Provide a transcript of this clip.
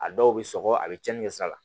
A dɔw bɛ sɔgɔ a bɛ cɛnnin kɛ sa la